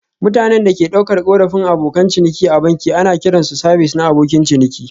Mutanen da ke ɗaukar korafin Abokan ciniki a banki ana kiran su sabis na abokin ciniki